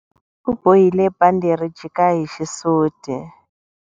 U bohile bandhi ri jika hi xisuti.